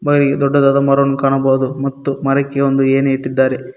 By ದೊಡ್ಡದಾದ ಮರವನ್ನು ಕಾಣಬಹುದು ಮತ್ತು ಮರಕ್ಕೆ ಒಂದು ಎನಿಯನ್ನು ಇಟ್ಟಿದ್ದಾರೆ.